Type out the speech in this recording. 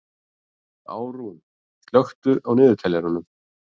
Árún, slökktu á niðurteljaranum.